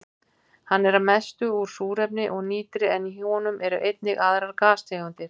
Hann er að mestu úr súrefni og nitri en í honum eru einnig aðrar gastegundir.